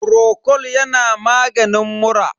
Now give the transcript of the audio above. frocol yana maganin mura.